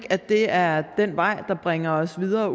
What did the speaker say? at det er den vej der bringer os videre